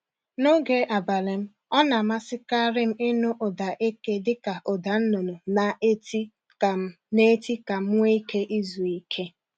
N’oge abalị m ọ na amasịkarị m ịnụ ụda eke dịka ụda nnụnụ na-eti ka m na-eti ka m nwe ike izu ike.